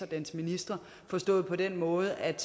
dens ministre forstået på den måde at